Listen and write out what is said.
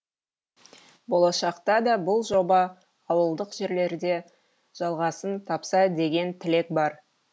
болашақта да бұл жоба ауылдық жерлерде жалғасын тапса деген тілек бар